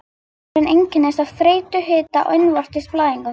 Eitrunin einkennist af þreytu, hita og innvortis blæðingum.